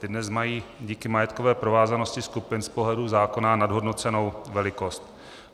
Ty dnes mají díky majetkové provázanosti skupin z pohledu zákona nadhodnocenou velikost.